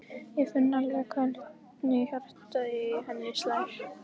Ég finn alveg hvernig hjartað í henni slær.